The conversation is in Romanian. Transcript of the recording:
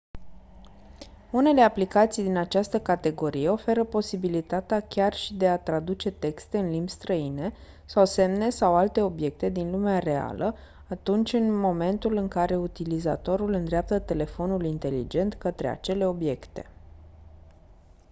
unele aplicații din această categorie oferă posibilitatea chiar și de a traduce texte în limbi străine sau semne sau alte obiecte din lumea reală atunci în momentul în care utilizatorul îndreaptă telefonul inteligent către acele obiecte